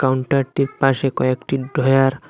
কাউন্টারটির পাশে কয়েকটি ঢ্রয়ার --